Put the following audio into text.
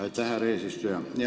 Aitäh, härra eesistuja!